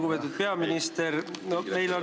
Lugupeetud peaminister!